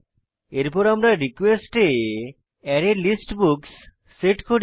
এরপর আমরা রিকোয়েস্ট এ অ্যারেলিস্ট বুকস সেট করি